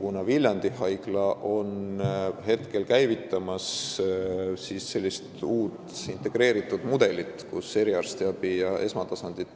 Kuna Viljandi Haigla käivitab praegu uut mudelit, kus püütakse eriarstiabi ja esmatasandit